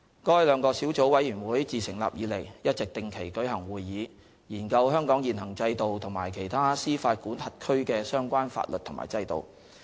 該兩個小組委員會自成立以來，一直定期舉行會議，研究香港現行制度和其他司法管轄區的相關法律和制度。